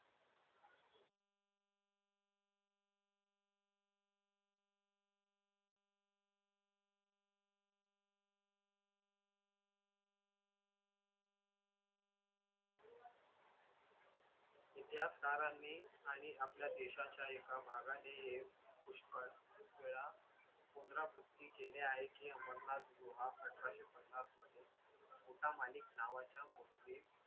इतिहासकाराने आणि आपल्या देशाच्या एका भागाने हे पुष्कळ वेळा पुनरावृत्ति केले आहे की अमरनाथ गुहा अठराशे पन्नासमध्ये मुठा मालीक नावाच्या मुस्लिम